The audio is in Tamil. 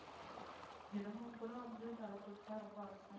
தினமும் வந்து தல குளிச்ச ரொம்ப .